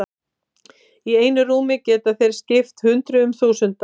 Í einu rúmi geta þeir skipt hundruðum þúsunda.